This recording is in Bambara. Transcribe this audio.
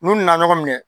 N'u nana ɲɔgɔn minɛ